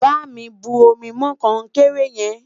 bá mí bu omi mọ konkere yen